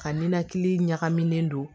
Ka ninakili ɲagaminen don